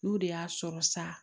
N'u de y'a sɔrɔ sa